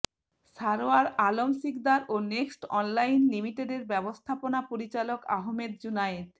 সারওয়ার আলম শিকদার ও Next Online লিমিটেডের ব্যবস্থাপনা পরিচালক আহমেদ জুনায়েদ